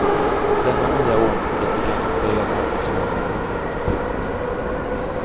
Denna nya ordning blir till gagn för hela arbetsmarknaden. punkt